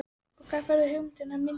Og hvar færðu hugmyndirnar að myndunum?